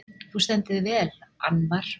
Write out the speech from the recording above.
Þú stendur þig vel, Annmar!